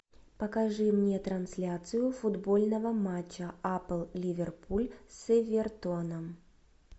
покажи мне трансляцию футбольного матча апл ливерпуль с эвертоном